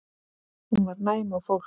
Hún var næm á fólk.